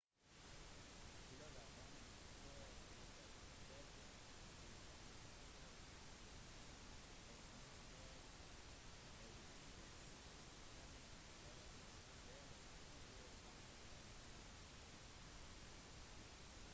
global running tours etterfølger go running tours har et nettverk av mange sightrunningleverandører på fire kontinenter